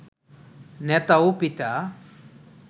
নেতা ও পিতা